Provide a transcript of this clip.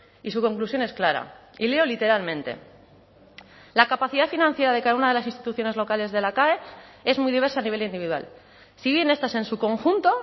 y su conclusión es clara y leo literalmente la capacidad financiera de cada una de las instituciones locales de la cae es muy diversa a nivel individual si bien estas en su conjunto